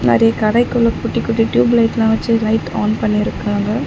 நெறைய கடைக்குள்ள குட்டி குட்டி டியூப் லைட்லா வெச்சு லைட் ஆன் பண்ணிருக்குறாங்க.